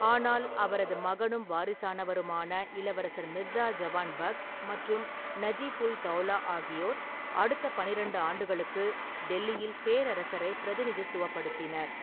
ஆனால் அவரது மகனும் வாரிசானவருமான இளவரசர் மிர்சா ஜவான் பக்த் மற்றும் நஜிப்-உல்-தௌலா ஆகியோர் அடுத்த பன்னிரெண்டு ஆண்டுகளுக்கு டெல்லியில் பேரரசரைப் பிரதிநிதித்துவப்படுத்தினர்.